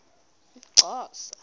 umxhosa